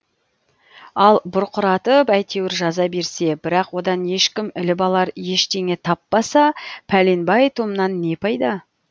ал бұрқыратып әйтеуір жаза берсе бірақ одан ешкім іліп алар ештеңе таппаса пәленбай томнан не пайда